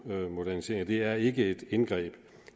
moderniseringer det er ikke et indgreb